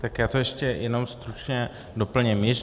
Tak já to ještě jenom stručně doplním.